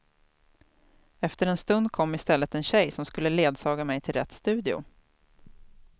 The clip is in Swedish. Efter en stund kom i stället en tjej som skulle ledsaga mig till rätt studio.